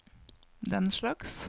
denslags